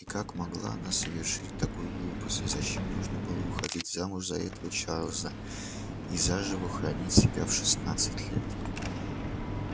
и как могла она совершить такую глупость зачем нужно было выходить замуж за этого чарлза и заживо хоронить себя в шестнадцать лет